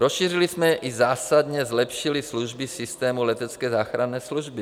Rozšířili jsme i zásadně zlepšili služby systému letecké záchranné služby.